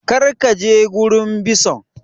Kar ka je gurin bison!